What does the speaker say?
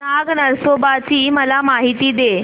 नाग नरसोबा ची मला माहिती दे